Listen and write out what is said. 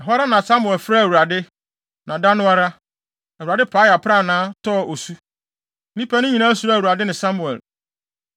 Ɛhɔ ara Samuel frɛɛ Awurade, na da no ara, Awurade paee aprannaa, tɔɔ osu. Nnipa no nyinaa suroo Awurade ne Samuel.